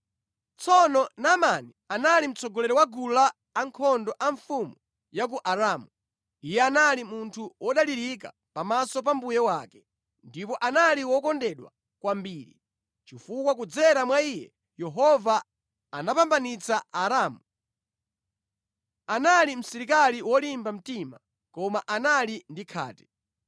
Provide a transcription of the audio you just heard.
Tsono Naamani anali mtsogoleri wa gulu lankhondo a mfumu ya ku Aramu. Iye anali munthu wodalirika pamaso pa mbuye wake ndipo anali wokondedwa kwambiri, chifukwa kudzera mwa iye Yehova anapambanitsa Aaramu. Anali msilikali wolimba mtima, koma anali ndi khate.